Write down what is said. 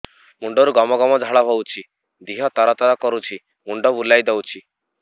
ମୁଣ୍ଡରୁ ଗମ ଗମ ଝାଳ ବହୁଛି ଦିହ ତର ତର କରୁଛି ମୁଣ୍ଡ ବୁଲାଇ ଦେଉଛି